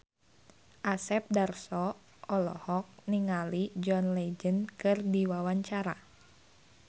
Asep Darso olohok ningali John Legend keur diwawancara